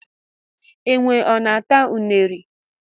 Enwe ọ na-ata ụnere?